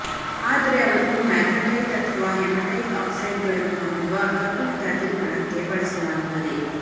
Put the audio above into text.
ಆದರೆ ಅವನ್ನು ಮ್ಯಾಗ್ನಾಟೈಟ್ ಅಥವಾ ಹೆಮಟೈಟ್ ಆಕ್ಸೈಡ್ಗಳನ್ನು ಹೊಂದಿರುವ ಕಬ್ಬಿಣದ ಅದಿರುಗಳಂತೆ ಬಳಸಲಾಗುತ್ತದೆ